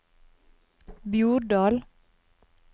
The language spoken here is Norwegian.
Bjordal